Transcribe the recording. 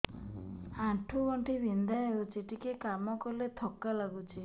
ଆଣ୍ଠୁ ଗଣ୍ଠି ବିନ୍ଧା ହେଉଛି ଟିକେ କାମ କଲେ ଥକ୍କା ଲାଗୁଚି